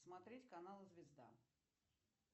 смотреть канал звезда